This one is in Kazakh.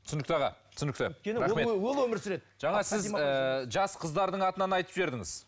түсінікті аға түсінікті рахмет жаңа сіз і жас қыздардың атынан айтып жібердіңіз